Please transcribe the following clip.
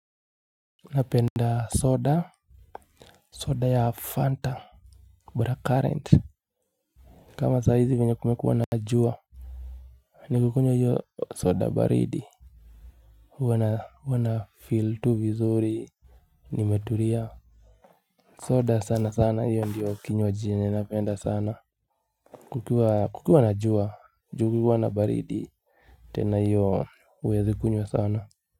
Napenda soda. Soda ya Fanta Black current kama saa hizi venye kumekua na jua nikikunywa hiyo soda baridi huwa na feel tu vizuri nimeturia. Soda sana sana hiyo ndiyo kinywaji yenye napenda sana. Kukiwa kukiwa na jua ju kukiwa na baridi tena hiyo uwezi kunywa sana.